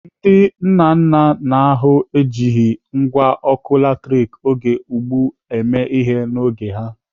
Ndị nna nna n'ahụ ejighị ngwá ọkụ latrik oge ugbu a mee ihe n'oge ha.